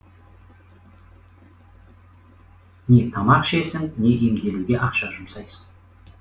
не тамақ ішесің не емделуге ақша жұмсайсың